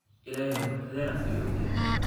Illahey ruxdhena ayuu ogyhy.